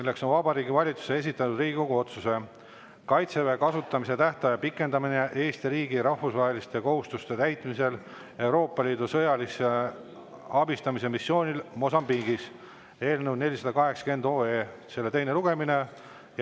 See on Vabariigi Valitsuse esitatud Riigikogu otsuse "Kaitseväe kasutamise tähtaja pikendamine Eesti riigi rahvusvaheliste kohustuste täitmisel Euroopa Liidu sõjalise abistamise missioonil Mosambiigis" eelnõu 480 teine lugemine.